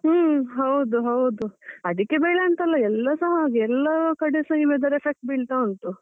ಹ್ಮ್ ಹೌದು ಹೌದು. ಅಡಿಕೆ ಬೆಲೆ ಅಂತ ಅಲ್ಲ ಎಲ್ಲಾಸ ಹಾಗೆ, ಎಲ್ಲ ಕಡೆಸ ಈ weather ಹ effect ಬೀಳ್ತಾ ಉಂಟು.